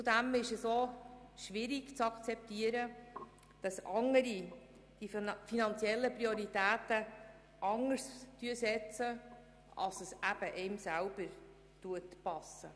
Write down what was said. Zudem ist es auch schwierig zu akzeptieren, dass die finanziellen Prioritäten unterschiedlich gesetzt werden.